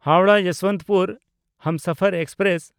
Howrah Yesvantpur Humsafar express